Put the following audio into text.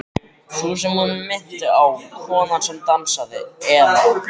Sú sem hún minnti á, konan sem dansaði, eða.